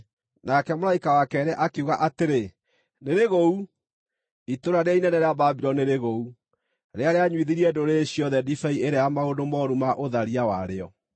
Nake mũraika wa keerĩ akiuga atĩrĩ, “Nĩrĩgũu! Itũũra rĩrĩa inene rĩa Babuloni nĩrĩgũu, rĩrĩa rĩanyuithirie ndũrĩrĩ ciothe ndibei ĩrĩa ya maũndũ mooru ma ũtharia warĩo.”